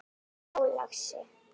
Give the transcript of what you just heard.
Já, lagsi.